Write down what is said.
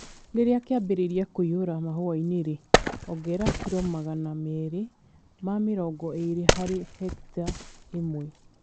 Rĩrĩa kĩambĩrĩria kũiyũra mahũa-inĩ-rĩ, ongerera kilomagana marĩ ma mĩrongo ĩrĩ harĩ hekita ĩmwe.